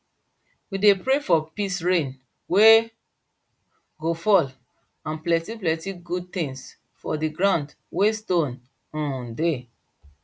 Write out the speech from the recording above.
we dey pray for peace rain wey go fall and plenty plenty good tins for di ground wey stone um dey